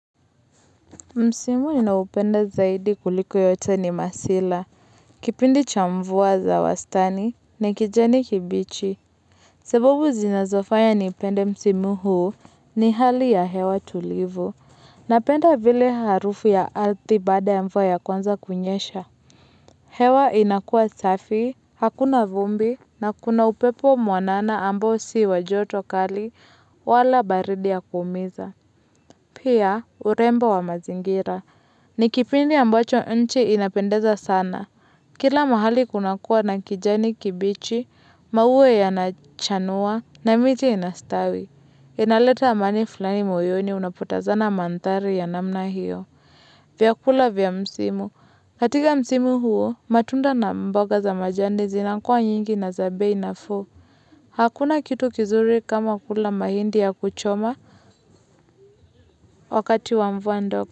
Msimu ninaupenda zaidi kuliko yote ni masila, kipindi cha mvua za wastani, ni kijani kibichi. Sababu zinazofanya nipende msimu huu ni hali ya hewa tulivu, na penda vile harufu ya ardhi baada ya mvua ya kwanza kunyesha. Hewa inakuwa safi, hakuna vumbi, na kuna upepo mwanana ambao si wa joto kali, wala baridi ya kuumiza. Pia, urembo wa mazingira. Ni kipindi ambacho nchi inapendeza sana. Kila mahali kunakuwa na kijani kibichi, maua yanachanua, na miti inastawi. Inaleta amani fulani moyoni unapotazama mandhari ya namna hiyo. Vyakula vya msimu. Katika msimu huo, matunda na mboga za majani zinakuwa nyingi na za bei nafuu. Hakuna kitu kizuri kama kula mahindi ya kuchoma wakati wa mvua ndogo.